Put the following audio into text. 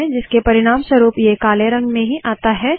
जिसके परिणामस्वरूप ये काले रंग में ही आता है